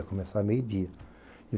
Ia começar meio-dia.